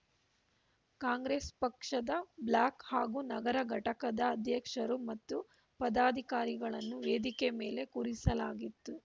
ಕಾಂಗ್ರೆಸ್‌ ಪಕ್ಷದ ಬ್ಲಾಕ್‌ ಹಾಗೂ ನಗರ ಘಟಕದ ಅಧ್ಯಕ್ಷರು ಮತ್ತು ಪದಾಧಿಕಾರಿಗಳನ್ನು ವೇದಿಕೆ ಮೇಲೆ ಕೂರಿಸಲಾಗಿತ್ತು